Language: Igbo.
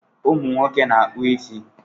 Ụmụ nwoke na-akpọ ịsị